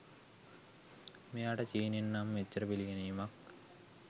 මෙයාට චීනෙන් නම් එච්චර පිළිගැනීමක්